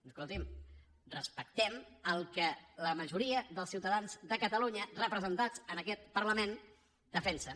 escolti’m respectem el que la majoria dels ciutadans de catalunya representats en aquest parlament defensen